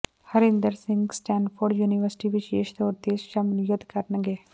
Harinder Singh Stanford university ਵਿਸੇਸ਼ ਤੌਰ ਤੇ ਸ਼ਮੂਲੀਅਤ ਕਰਨਗੇ